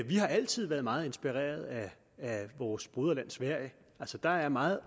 har altid været meget inspireret af vores broderland sverige der er meget